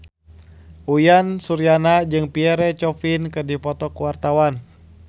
Uyan Suryana jeung Pierre Coffin keur dipoto ku wartawan